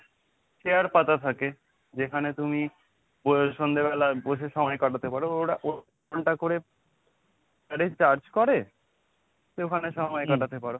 chair পাতা থাকে যেখানে তুমি সন্ধ্যেবেলা বসে সময় কাটাতে পারো, ওরা ঘণ্টা করে একটা charge করে তো ওখানে সময় কাটাতে পারো।